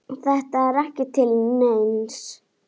Þetta er ekki til neins.